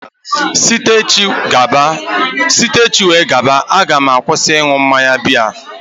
Site echi wee gaba, a ga m akwụsị ịṅụ mmanya biya